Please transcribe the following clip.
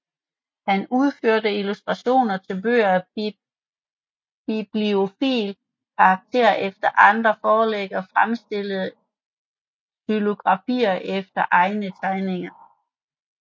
Han udførte illustrationer til bøger af bibliofil karakter efter andres forlæg og fremstillede xylografier efter egne tegninger